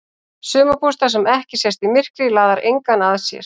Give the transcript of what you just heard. Sumarbústaður sem ekki sést í myrkri laðar engan að sér.